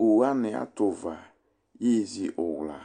owu wani ato uva yezi uwla